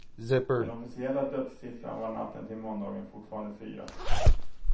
Den officiella dödssiffran var natten till måndagen fortfarande fyra.